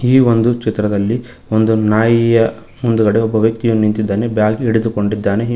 ಈ ಒಂದು ಚಿತ್ರದಲ್ಲಿ ಒಂದು ನಾಯಿಯ ಮುಂದ್ಗಡೆ ಒಬ್ಬ ವ್ಯಕ್ತಿಯು ನಿಂತಿದ್ದಾನೆ ಬ್ಯಾಗ್ ಹಿಡಿದುಕೊಂಡಿದ್ದಾನೆ ಹಿ--